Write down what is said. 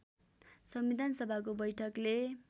संविधान सभाको बैठकले